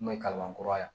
Kuma ye kabakura ye